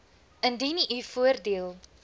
indien u voordeel